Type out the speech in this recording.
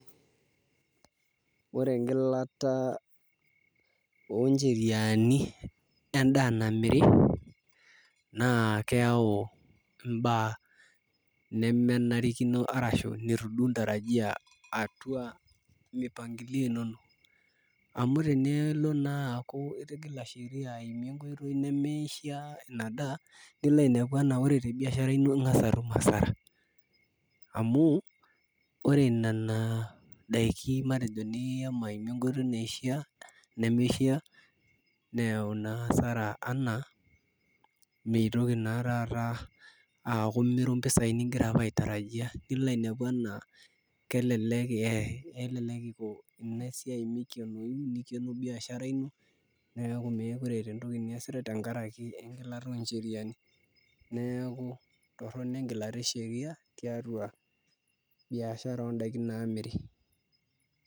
Ore engilata ooncheriani endaa namiri naa keyau imbaa nemenarikino arashu nitu duo intarajia atua mipangilio inonok naa aaku itigila sheria aimu enkoitoi nimishiaa ina daa neleleku eeku ore tebiashara nilo asara amu ore nena daiki nishomo aimie enkoitoi nemishiaa neyau naa asara enaa tanakata aaku imiru impisaai ningirara apa aitarajia nilo ainepu enaa kelelek Iko ina siai nikeno biashara ino meekure eeta entoki niasita tenkaraki engilata ooncheriani, neeku torrono engilata esheria tiatua biashara oondaiki naamiri.